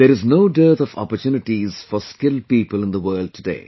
There is no dearth of opportunities for skilled people in the world today